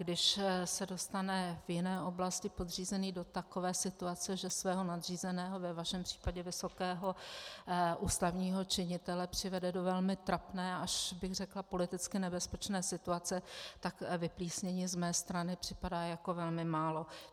Když se dostane v jiné oblasti podřízený do takové situace, že svého nadřízeného, ve vašem případě vysokého ústavního činitele, přivede do velmi trapné, až bych řekla politicky nebezpečné situace, tak vyplísnění z mé strany připadá jako velmi málo.